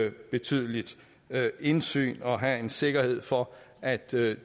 et betydeligt indsyn og have en sikkerhed for at det